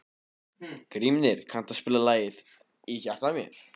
Grímnir, kanntu að spila lagið „Í hjarta mér“?